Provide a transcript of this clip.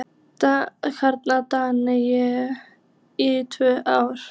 Þannig drakk ég í tvö ár.